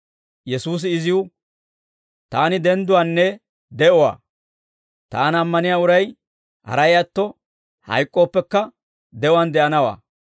Yesuusi iziw, «Taani dendduwaanne de'uwaa; Taana ammaniyaa uray haray atto, hayk'k'ooppekka de'uwaan de'anawaa.